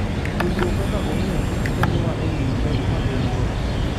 Puonjruok kaka ong'eyo kich konyowa ng'eyo pek ma gin go.